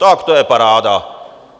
Tak to je paráda!